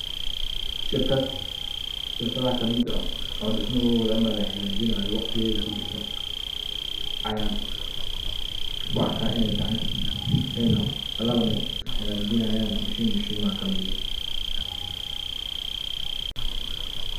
Shirkad shirkada kamid ah oo laha gajinayo oo kujirta waqtigeda ujeda ayan kuarka iney tahay ayna oo laba nin ay hagajinayan mashin mashimaha kamid ah.